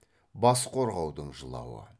бас қорғаудың жылауы